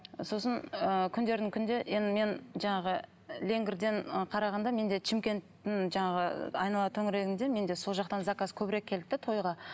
сосын ы күндердің күнінде енді мен жаңағы леңгірден і қарағанда менде шымкенттің жаңағы айнала төңірегінде менде сол жақтан заказ көбірек келді де тойға